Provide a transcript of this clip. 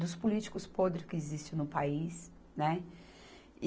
dos políticos podre que existe no país, né?